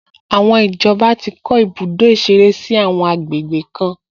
Àwọn ìjọba ti kọ́ ibùdó ìṣeré sí àwọn àgbègbè kan